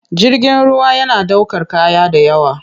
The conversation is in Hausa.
Jirgin ruwa yana ɗaukar kaya da yawa.